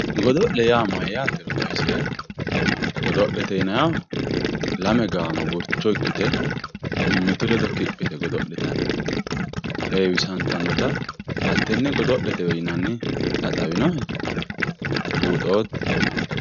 godo'le yaa mayyaatero xawiseemmohe godo'lete yineemmoti lame gaamo gurcho ikkite mimmitu ledo kiphi yite godo'litanni heewisantannota hattenne godo'letewe yinanni xawinohe buuxootto?